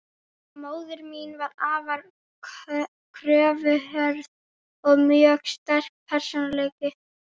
Móðir mín var afar kröfuhörð, og mjög sterkur persónuleiki.